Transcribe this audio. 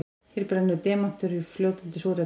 Hér brennur demantur í fljótandi súrefni.